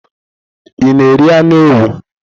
Ị na-eri anụ ewu?